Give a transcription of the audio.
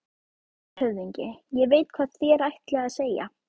LANDSHÖFÐINGI: Ég veit, hvað þér ætlið að segja.